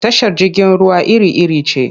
Tashar jirgin ruwa iri-iri ce.